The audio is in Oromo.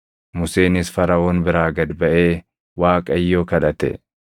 Museenis Faraʼoon biraa gad baʼee Waaqayyo kadhate.